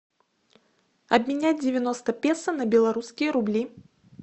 обменять девяносто песо на белорусские рубли